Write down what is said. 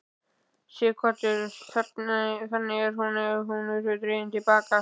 Sighvatur: Þannig að hún hefur verið dregin til baka?